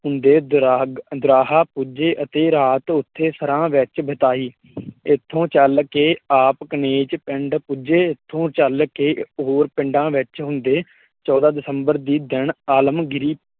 ਹੁੰਦੇ ਦਰਾਗ ਦੋਰਾਹਾ ਪੁੱਜੇ ਅਤੇ ਰਾਤ ਉਥੇ ਸਰਾਹ ਵਿੱਚ ਬਿਤਾਈ ਇੱਥੋਂ ਚਲ ਕੇ ਆਪ ਕਨੇਚ ਪਿੰਡ ਪੁੱਜੇ ਇਥੋਂ ਚਲ ਕੇ ਹੋਰ ਪਿੰਡਾ ਵਿੱਚ ਹੁੰਦੇ ਚੌਂਦਾ ਦਸੰਬਰ ਦੀ ਦਿਨ ਆਲਮਗੀਰ